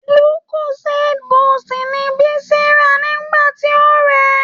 Lucozade boost ni Bisi rà nígbà tí ó rèé.